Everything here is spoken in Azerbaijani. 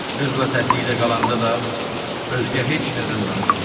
Qızla təklikdə qalanda da özgə heç nədən danışmırdı.